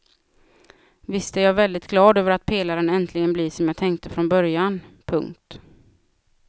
Visst är jag väldigt glad över att pelaren äntligen blir som jag tänkte från början. punkt